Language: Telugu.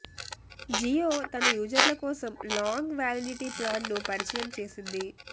జియో తన యూజర్ల కోసం లాంగ్ వ్యాలిడిటీ ప్లాన్ను పరిచయం చేసింది